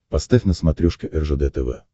поставь на смотрешке ржд тв